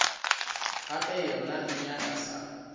gape yona e nyaka sa